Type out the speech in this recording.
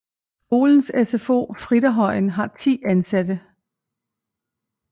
Skolens SFO Fritterhøjen har 10 ansatte